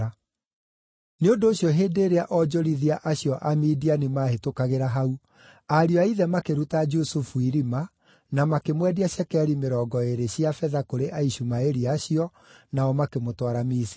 Nĩ ũndũ ũcio hĩndĩ ĩrĩa onjorithia acio Amidiani maahĩtũkagĩra hau, ariũ a ithe makĩruta Jusufu irima, na makĩmwendia cekeri mĩrongo ĩĩrĩ cia betha kũrĩ Aishumaeli acio, nao makĩmũtwara Misiri.